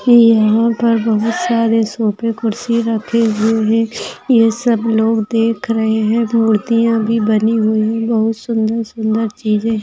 यहाँ पर बहुत सारे सोफ़े कुर्सीया रखे हुए है ये सब लोग देख रहे है मूर्तिया भी बनी हुई है बहुत सुंदर सुंदर चिजे --